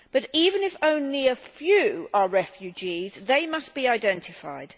However, even if only a few are refugees, they must be identified.